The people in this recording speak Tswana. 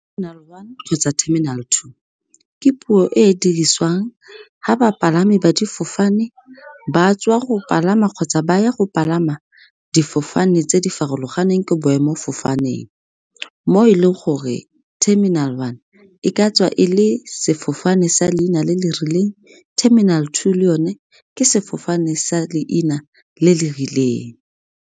one kgotsa terminal two, ke puo e e diriswang ga bapalami ba difofane ba tswa go palama kgotsa ba ya go palama difofane tse di farologaneng ko boemofofaneng. Mo e leng gore terminal one e ka tswa e le sefofane sa leina le le rileng terminal two le yone ke sefofane sa leina le le rileng.